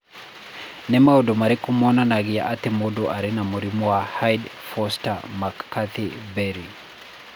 Nĩ maũndũ marĩkũ monanagia atĩ mũndũ arĩ na mũrimũ wa Hyde Forster Mccarthy Berry?